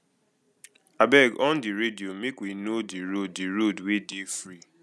abeg on di radio make we know di road di road wey dey free